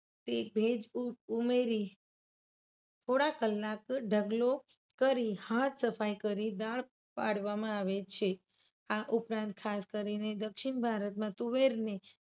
તે ભેજ ઉ ઉમેરી થોડા કલાક ઢગલો કરી હાથ સફાઈ કરી દાળ પાડવામાં આવે છે. આ ઉપરાંત ખાસ કરીને દક્ષિણ ભારતમાં તુવેરને